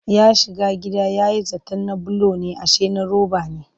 Ya shiga gida ya yi zaton na bulo ne ashe na roba ne